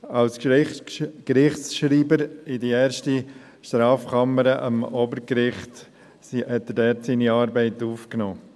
2011 nahm er seine Arbeit in der ersten Strafkammer am Obergericht auf.